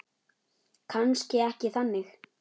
Kannski ekki þannig.